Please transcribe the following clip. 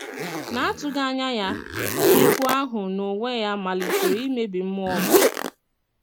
N’atụghị anya ya, egwú ahụ n’onwe ya malitere imebi mmụọ m.